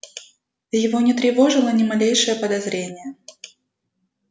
его не тревожило ни малейшее подозрение